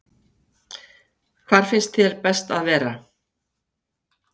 Hvar finnst þér best að vera?